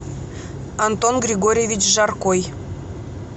антон григорьевич жаркой